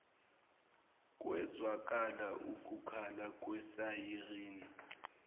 kwezwakala ukukhala kwesayirini